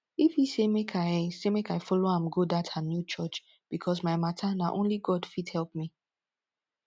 ify say make i say make i follow am go dat her new church because my matter na only god fit help me